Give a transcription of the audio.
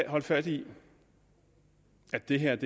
holde fast i at det her